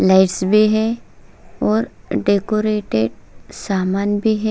Lights भी है और डेकोरेट सामान भी है।